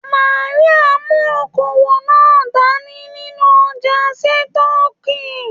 Màríà mú okoowó náà dání nínú ọja sitọ̀ọ́kíi.